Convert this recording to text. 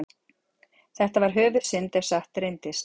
Þetta var höfuðsynd, ef satt reyndist.